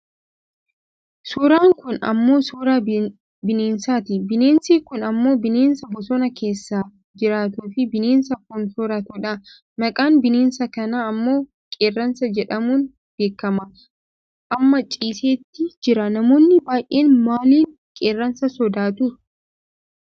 Suuraan kun ammoo suuraa binessaati. Bineensi kun ammoo bineensa bosona keessa jiraatuufi bineensa foon soorratudha. Maqaan bineensa kanaa ammoo qeerransa jedhamuun beekkama. Amma ciiseet jira. Namoonni baayyeen maaliin qeerransa sodaatu?